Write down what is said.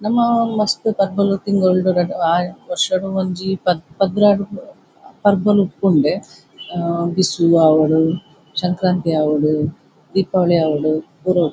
ನಮ್ಮ ಮಸ್ತ್ ಪರ್ಬಲು ತಿಂಗೊಳ್ಡು ವರ್ಷಡ್ ಒಂಜಿ ಪತ್ತ್ ಪದ್ರಾಡ್ ಪರ್ಬಲು ಉಪ್ಪುಂಡೆ ಬಿಸು ಆವಡ್ ಸಂಕ್ರಾಂತಿ ಆವಡ್ ದೀಪಾವಳಿ ಆವಡ್ ಪೂರ ಉಪ್ಪುಂಡು.